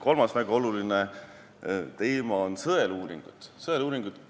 Kolmas väga oluline teema on sõeluuringud.